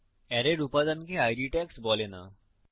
অ্যারের উপাদানকে ID tags বলে না